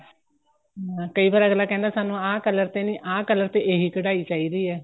ਹਾਂ ਕਈ ਵਾਰ ਅੱਗਲਾ ਕਹਿੰਦਾ ਸਾਨੂੰ ਆ color ਤੇ ਨਹੀਂ ਆ color ਤੇ ਇਹੀ ਕਢਾਈ ਚਾਹੀਦੀ ਏ